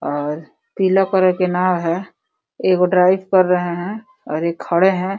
और पीला कलर के नाव है। एगो ड्राइव कर रहे है और एक खड़े है।